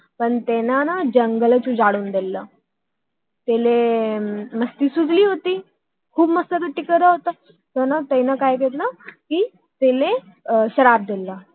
पण त्यांनी जंगलच उजाडून दिल आह त्यांना मस्ती सुचली होती आह खूप मस्त्यापट्टी करत होता तर त्याने तयाला श्राप दिल